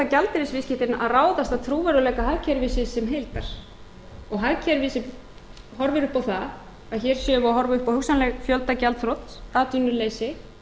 gjaldeyrisviðskiptin að ráðast af trúverðugleika hagkerfisins sem heildar og hagkerfið horfir upp á það að hér séum við að horfa upp á hugsanleg fjöldagjaldþrot atvinnuleysi